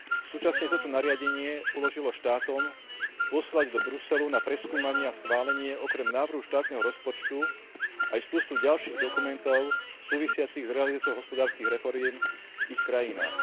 Súčasne toto nariadenie uložilo štátom poslať do Bruselu na preskúmanie a schválenie okrem návrhu štátneho rozpočtu aj množstvo ďalších dokumentov súvisiacich s realizáciou hospodárskych reforiem v ich krajinách.